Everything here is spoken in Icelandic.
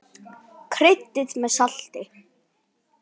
Kryddið með salti.